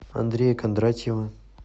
андрея кондратьева